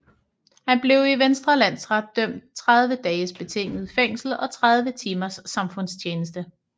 Han blev i Vestre Landsret idømt 30 dages betinget fængsel og 30 timers samfundstjeneste